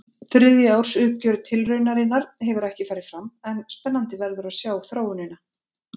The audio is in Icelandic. Þriðja árs uppgjör tilraunarinnar hefur ekki farið fram en spennandi verður að sjá þróunina.